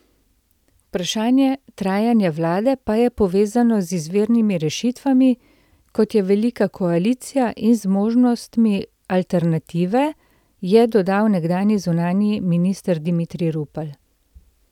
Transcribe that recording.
Vprašanje trajanja vlade pa je povezano z izvirnimi rešitvami, kot je velika koalicija, in z možnostmi alternative, je dodal nekdanji zunanji minister Dimitrij Rupel.